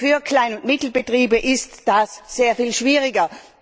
Für Klein und Mittelbetriebe ist das sehr viel schwieriger.